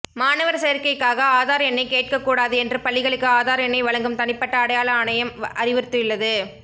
மாணவர் சேர்க்கைக்காக ஆதார் எண்ணை கேட்கக் கூடாது என்று பள்ளிகளுக்கு ஆதார் எண்ணை வழங்கும் தனிப்பட்ட அடையாள ஆணையம் அறிவுறுத்தியுள்ளது